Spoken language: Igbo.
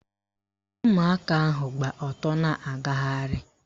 Ụmụaka ahụ gba ọtọ na-agagharị